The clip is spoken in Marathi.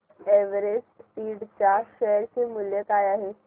एव्हरेस्ट इंड च्या शेअर चे मूल्य काय आहे